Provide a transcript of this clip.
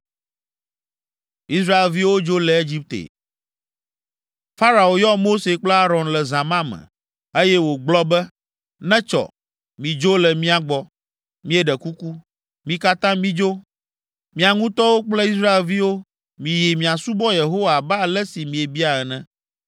Farao yɔ Mose kple Aron le zã ma me, eye wògblɔ be, “Netsɔ, midzo le mía gbɔ, míeɖe kuku, mi katã midzo! Mia ŋutɔwo kple Israelviwo; miyi miasubɔ Yehowa abe ale si miebia ene.